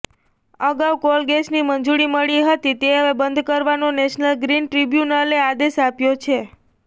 અગાઉ કોલગેસની મંજૂરી મળી હતી તે હવે બંધ કરવાનો નેશનલ ગ્રીન ટ્રિબ્યુનલે આદેશ આપ્યો છે